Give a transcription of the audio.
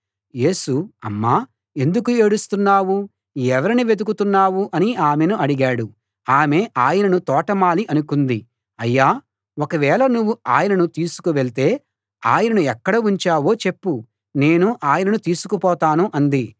యేసు అమ్మా ఎందుకు ఏడుస్తున్నావు ఎవరిని వెతుకుతున్నావు అని ఆమెను అడిగాడు ఆమె ఆయనను తోటమాలి అనుకుంది అయ్యా ఒకవేళ నువ్వు ఆయనను తీసుకు వెళ్తే ఆయనను ఎక్కడ ఉంచావో చెప్పు నేను ఆయనను తీసుకుపోతాను అంది